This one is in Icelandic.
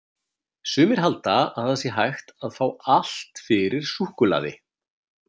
Sumir halda að það sé hægt að fá allt fyrir súkkulaði!